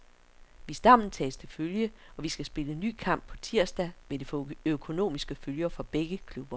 Hvis dommen tages til følge, og vi skal spille ny kamp på tirsdag, vil det få økonomiske følger for begge klubber.